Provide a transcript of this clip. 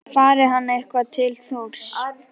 Fari hann eitthvað fer hann til Þórs.